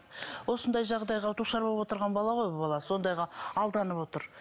осындай жағдайға душар болып отырған бала ғой бұл бала сондайға алданып отыр